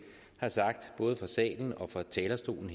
har sagt både fra salen og fra talerstolen